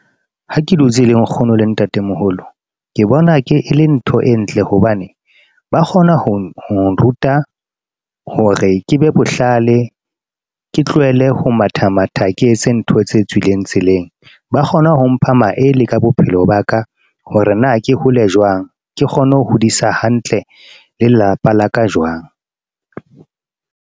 Ha ke dutse le nkgono le ntate moholo ke bona le ntho e ntle hobane ba kgona ho nruta hore ke be bohlale. Ke tlohele ho matha matha, ke etse ntho tse tswileng tseleng. Ba kgona ho mpha maele ka bophelo ba ka, hore na ke hole jwang, ke kgone ho hodisa hantle, le lelapa la ka jwang.